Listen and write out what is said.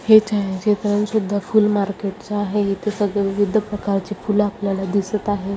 हे छायाचित्र सुद्धा फूल मार्केट च आहे इथे सगळे विविद्ध प्रकार चे फूल आपल्याला दिसत आहे.